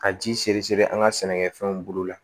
Ka ji seri siri an ka sɛnɛkɛfɛnw bolo la